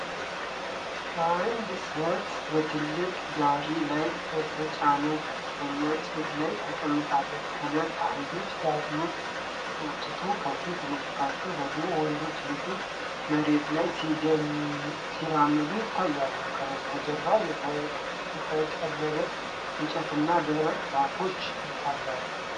አንድ ሰት በትልቅ ጋሪ ላይ በተጫነ ከፍተኛ ጭድ ላይ ተቀምጣለች። ሁለት አህዮች ጋሪውን ሲጎትቱ፣ ከፊት ለፊታቸው ደግሞ ወንዶች ልጆች በመሬት ላይ ሲራመዱ ይታያሉ። ከበስተጀርባ የተቆለለ እንጨትና ደረቅ ዛፎች ይታያሉ።